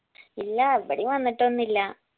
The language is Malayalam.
ഇല്ലാ ഇവടേം വന്നിട്ടൊന്നില്ലാ